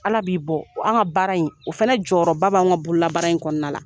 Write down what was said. Ala b'i bɔ, an ka baara in o fana jɔyɔrɔba bɛ an ka buru la , baara in kɔnɔna na.